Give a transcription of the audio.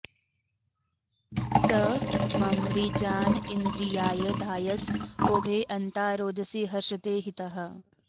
स म॑र्मृजा॒न इ॑न्द्रि॒याय॒ धाय॑स॒ ओभे अ॒न्ता रोद॑सी हर्षते हि॒तः